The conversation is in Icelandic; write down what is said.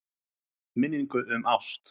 Minningu um ást.